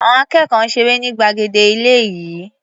Àọn akẹ́kọ̀ọ́ ń ṣeré ní gbàgede ilé-ìé.